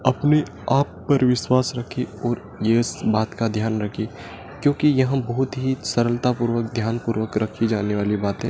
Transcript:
अपने आप पर विश्वास रखिए और इस बात का ध्यान रखिये क्योंकि यहां बहुत ही सरलता पूर्वक ध्यान पूर्वक रखी जाने वाली बातें--